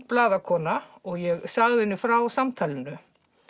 blaðakona og ég sagði henni frá samtalinu